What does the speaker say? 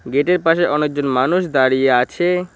গেটের পাশে অনেকজন মানুষ দাঁড়িয়ে আছে।